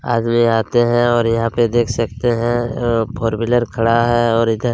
आदमी आते है और यहाँ पे देख सकते है अ फोर व्हीलर खड़ा है और इधर --